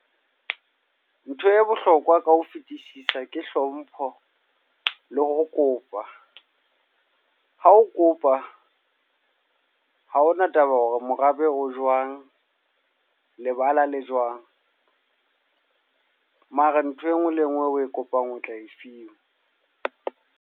Ntho e bohlokwa ka ho fetisisa ke hlompho, le ho kopa. Ha o kopa, ha ho na taba hore morabe o jwang, lebala le jwang. Mara ntho e nngwe le e nngwe e o e kopang o tla e fiwa.